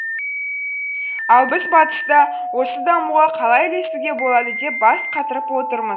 ал біз батыста осы дамуға қалай ілесуге болады деп бас қатырып отырмыз